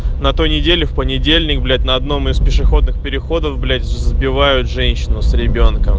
на той неделе в понедельник блять на одном из пешеходных переходов блять сбивают женщину с ребёнком